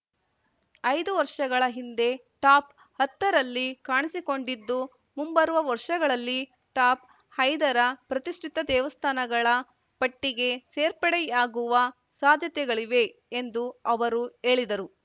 ಐದು ವರ್ಷಗಳ ಹಿಂದೆ ಟಾಪ್‌ ಹತ್ತರಲ್ಲಿ ಕಾಣಿಸಿಕೊಂಡಿದ್ದು ಮುಂಬರುವ ವರ್ಷಗಳಲ್ಲಿ ಟಾಪ್‌ ಐದರ ಪ್ರತಿಷ್ಠಿತ ದೇವಸ್ಥಾನಗಳ ಪಟ್ಟಿಗೆ ಸೇರ್ಪಡೆಯಾಗುವ ಸಾಧ್ಯತೆಗಳಿವೆ ಎಂದು ಅವರು ಹೇಳಿದರು